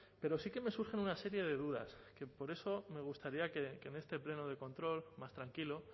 pero sí que me surgen una serie de dudas que por eso me gustaría que en este pleno de control más tranquilo